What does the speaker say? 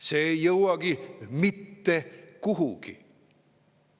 See ei jõuagi mitte kuhugi.